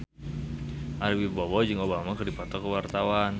Ari Wibowo jeung Obama keur dipoto ku wartawan